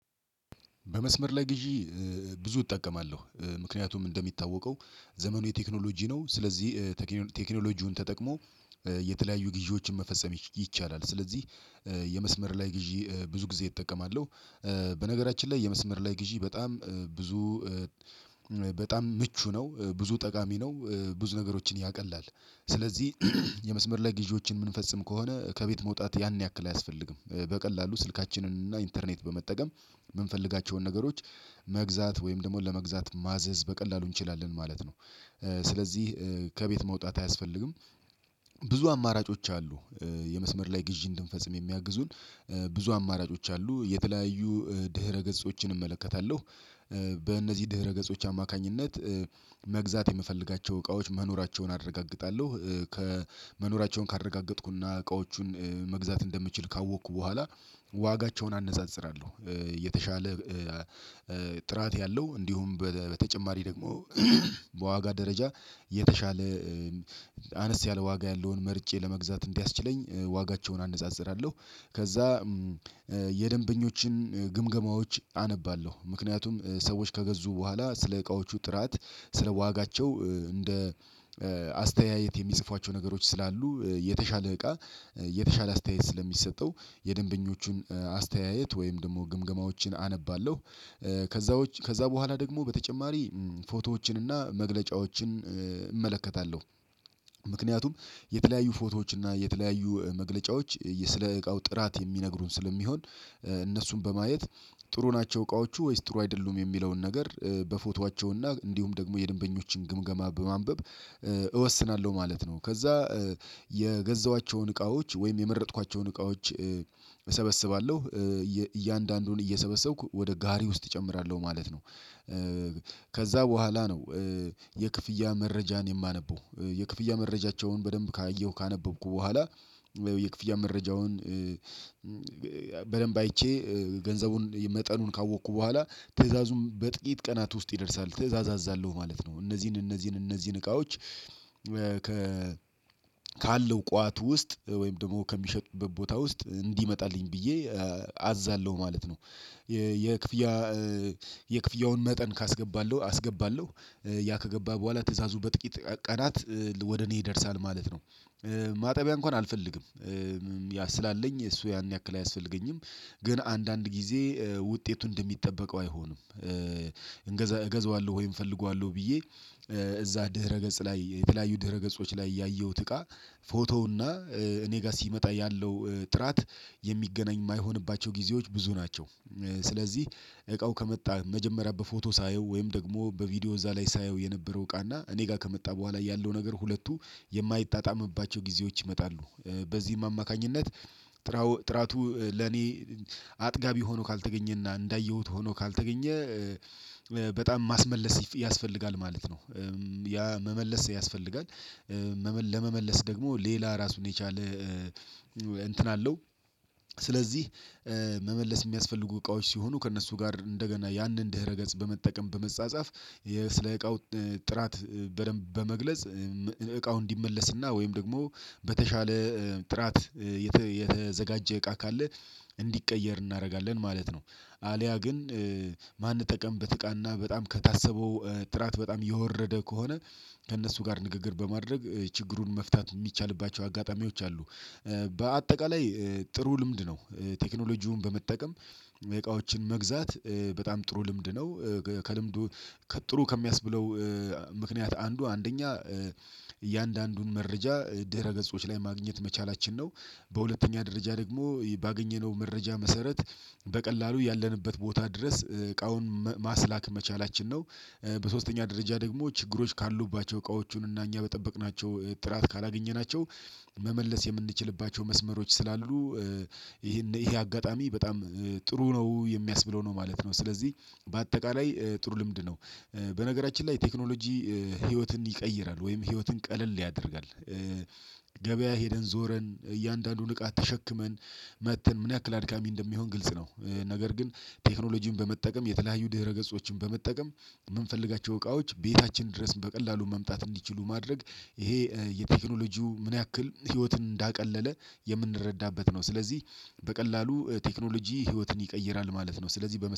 በመስመር ላይ ግዢ ብዙ እጠቀማለሁ ምክንያቱም እንደሚታወቀው ዘመኑ የቴክኖሎጂ ነው። ስለዚህ ቴክኖሎጂውን ተጠቅሞ የተለያዩ ግዢዎችን መፈጸም ይቻላል። ስለዚህ የመስመር ላይ ግዢ ብዙ ጊዜ እጠቀማለሁ። በነገራችን ላይ የመስመር ላይ ግዢ በጣም ብዙ በጣም ምቹ ነው ብዙ ጠቃሚ ነው ብዙ ነገሮችን ያቀላል። ስለዚህ የመስመር ላይ ጊዜዎችን የምንፈጽም ከሆነ ከቤት መውጣት ያን ያክል አያስፈልግም በቀላሉ ስልካችንን እና ኢንተርኔት በመጠቀም የምንፈልጋቸውን ነገሮች መግዛት ወይም ደግሞ ለመግዛት ማዘዝ በቀላሉ እንችላለን ማለት ነው። ስለዚህ ከቤት መውጣት አያስፈልግም። ብዙ አማራጮች አሉ። የመስመር ላይ ግዢ እንድንፈጽም የሚያግዙን ብዙ አማራጮች አሉ የተለያዩ ድህረ ገጾችን እመለከታለሁ። በእነዚህ ድህረገጾች አማካኝነት መግዛት የምፈልጋቸው እቃዎች መኖራቸውን አረጋግጣለሁ። ከመኖራቸውን ካረጋገጥኩና እቃዎቹን መግዛት እንደምችል ካወቅኩ በኋላ ዋጋቸውን አነጻጽራለሁ የተሻለ ጥራት ያለው እንዲሁም በተጨማሪ ደግሞ በዋጋ ደረጃ የተሻለ አነስ ያለ ዋጋ ያለውን መርጬ ለመግዛት እንዲያስችለኝ ዋጋቸውን አነጻጽራለሁ። ከዛ የደንበኞችን ግምገማዎች አነባለሁ ምክንያቱም ሰዎች ከገዙ በኋላ ስለ እቃዎቹ ጥራት ስለ ዋጋቸው እንደ አስተያየት የሚጽፏቸው ነገሮች ስላሉ የተሻለ እቃ የተሻለ አስተያየት ስለሚሰጠው የደንበኞቹን አስተያየት ወይም ደግሞ ግምገማዎችን አነባለሁ። ከዛዎች ከዛ በኋላ ደግሞ በተጨማሪ ፎቶዎችን እና መግለጫዎችን እመለከታለሁ። ምክንያቱም የተለያዩ ፎቶዎች እና የተለያዩ መግለጫዎች ስለ እቃው ጥራት የሚነግሩን ስለሚሆን እነሱን በማየት ጥሩ ናቸው እቃዎቹ ወይስ ጥሩ አይደሉም የሚለውን ነገር በፎቶአቸውና እንዲሁም ደግሞ የደንበኞችን ግምገማ በማንበብ እወስናለሁ ማለት ነው። ከዛ የገዛኋቸውን እቃዎች ወይም የመረጥኳቸውን እቃዎች እሰበስባለሁ እያንዳንዱን እየሰበሰብኩ ወደ ጋሪ ውስጥ እጨምራለሁ ማለት ነው። ከዛ በኋላ ነው የክፍያ መረጃን የማነበው የክፍያ መረጃቸውን በደንብ ካየሁ ካነበብኩ በኋላ የክፍያ መረጃውን በደንብ አይቼ ገንዘቡን መጠኑን ካወቅኩ በኋላ ትዕዛዙም በጥቂት ቀናት ውስጥ ይደርሳል ትእዛዛለሁ ማለት ነው። እነዚህን እነዚህን እነዚህን እቃዎች ከ ካለው ቋት ውስጥ ወይም ደግሞ ከሚሸጥበት ቦታ ውስጥ እንዲመጣልኝ ብዬ አዛለሁ ማለት ነው። የክፍያ የክፍያውን መጠን ካስገባለሁ አስገባለሁ ያ ከገባ በኋላ ትእዛዙ በጥቂት ቀናት ወደ እኔ ይደርሳል ማለት ነው። ማጠቢያ እንኳን አልፈልግም። ያ ስላለኝ እሱ ያን ያክል አያስፈልገኝም ግን አንዳንድ ጊዜ ውጤቱ እንደሚጠበቀው አይሆንም። እገዛዋለሁ ወይም እፈልጋለሁ ብዬ እዛ ድህረ ገጽ ላይ የተለያዩ ድህረ ገጾች ላይ ያየሁት እቃ ፎቶ እና እኔ ጋር ሲመጣ ያለው ጥራት የሚገናኝ የማይሆንባቸው ጊዜዎች ብዙ ናቸው። ስለዚህ እቃው ከመጣ መጀመሪያ በፎቶ ሳየው ወይም ደግሞ በቪዲዮ እዛ ላይ ሳየው የነበረው እቃና እኔ ጋር ከመጣ በኋላ ያለው ነገር ሁለቱ የማይጣጣምባቸው ጊዜዎች ይመጣሉ። በዚህም አማካኝነት ጥራቱ ለኔ አጥጋቢ ሆኖ ካልተገኘና እንዳየሁት ሆኖ ካልተገኘ በጣም ማስመለስ ያስፈልጋል ማለት ነው። ያ መመለስ ያስፈልጋል። ለመመለስ ደግሞ ሌላ ራሱን የቻለ እንትን አለው። ስለዚህ መመለስ የሚያስፈልጉ እቃዎች ሲሆኑ ከእነሱ ጋር እንደገና ያንን ድህረ ገጽ በመጠቀም በመጻጻፍ ስለ እቃው ጥራት በደንብ በመግለጽ እቃው እንዲመለስና ወይም ደግሞ በተሻለ ጥራት የተዘጋጀ እቃ ካለ እንዲቀየር እናደርጋለን ማለት ነው። አልያ ግን ማንጠቀምበት እቃና በጣም ከታሰበው ጥራት በጣም የወረደ ከሆነ ከእነሱ ጋር ንግግር በማድረግ ችግሩን መፍታት ሚቻልባቸው አጋጣሚዎች አሉ። በአጠቃላይ ጥሩ ልምድ ነው። ቴክኖሎጂውን በመጠቀም እቃዎችን መግዛት በጣም ጥሩ ልምድ ነው። ከልምዱ ከጥሩ ከሚያስብለው ምክንያት አንዱ አንደኛ እያንዳንዱን መረጃ ድህረ ገጾች ላይ ማግኘት መቻላችን ነው። በሁለተኛ ደረጃ ደግሞ ባገኘነው መረጃ መሰረት በቀላሉ ያለንበት ቦታ ድረስ እቃውን ማስላክ መቻላችን ነው። በሶስተኛ ደረጃ ደግሞ ችግሮች ካሉባቸው እቃዎቹን እና እኛ በጠበቅናቸው ጥራት ካላገኘናቸው መመለስ የምንችልባቸው መስመሮች ስላሉ። ይሄን ይሄ አጋጣሚ በጣም ጥሩ ነው የሚያስብለው ነው ማለት ነው። ስለዚህ በአጠቃላይ ጥሩ ልምድ ነው። በነገራችን ላይ ቴክኖሎጂ ህይወትን ይቀይራል ወይም ህይወትን ቀለል ያደርጋል። ገበያ ሄደን ዞረን እያንዳንዱን እቃ ተሸክመን መጥተን ምን ያክል አድካሚ እንደሚሆን ግልጽ ነው። ነገር ግን ቴክኖሎጂን በመጠቀም የተለያዩ ድህረ ገጾችን በመጠቀም የምንፈልጋቸው እቃዎች ቤታችን ድረስ በቀላሉ መምጣት እንዲችሉ ማድረግ ይሄ የቴክኖሎጂው ምን ያክል ህይወትን እንዳቀለለ የምንረዳበት ነው። ስለዚህ በቀላሉ ቴክኖሎጂ ህይወትን ይቀይራል ማለት ነው። ስለዚህ በመሰ